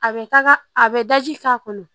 A bɛ taga a bɛ daji k'a kɔnɔ